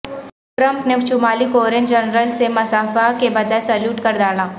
Trump نے شمالی Korean general سے مصافحہ کے بجائے سلیوٹ کر ڈالا